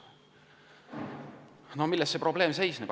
Milles probleem seisneb?